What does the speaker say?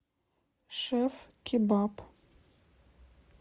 шеф кебаб